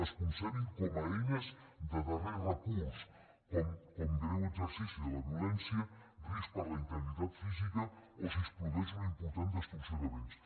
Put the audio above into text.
es concebin com a eines de darrer recurs com greu exercici de la violència risc per a la integritat física o si es produeix una important destrucció de béns